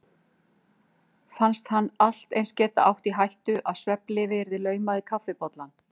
Fannst hann allt eins geta átt í hættu að svefnlyfi yrði laumað í kaffibollann.